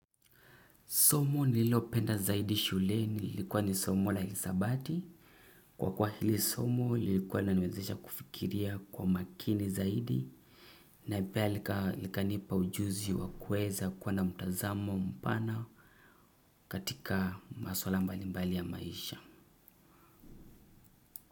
Somo nililopenda zaidi shuleni ilikuwa ni somo la hisabati. Kwa kuwa hili somo lilikuwa linaniwezesha kufikiria kwa makini zaidi na pia likanipa ujuzi wa kuweza kuwa na mtazamo mpana katika maswala mbalimbali ya maisha.